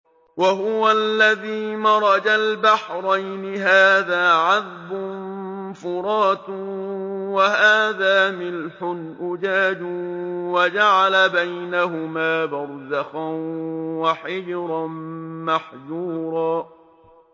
۞ وَهُوَ الَّذِي مَرَجَ الْبَحْرَيْنِ هَٰذَا عَذْبٌ فُرَاتٌ وَهَٰذَا مِلْحٌ أُجَاجٌ وَجَعَلَ بَيْنَهُمَا بَرْزَخًا وَحِجْرًا مَّحْجُورًا